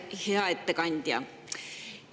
Hea ettekandja!